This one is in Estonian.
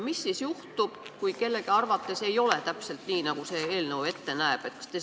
Mis siis juhtub, kui kellegi arvates ei ole täpselt nii, nagu see eelnõu ette näeb?